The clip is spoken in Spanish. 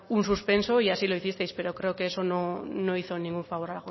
un suspenso y así los hicisteis pero creo que eso no hizo ningún favor